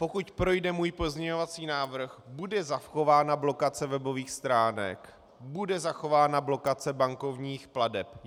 Pokud projde můj pozměňovací návrh, bude zachována blokace webových stránek, bude zachována blokace bankovních plateb.